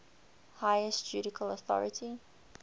highest judicial authority